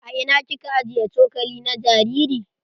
A ina kika ajiye cokali na jariri?